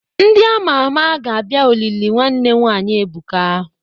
Ndị ama ama ga-abia olili nwanne nwanyi Ebuka.